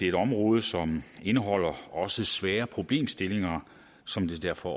et område som indeholder også svære problemstillinger som derfor